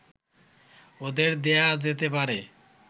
ওদের দেয়া যেতে পারে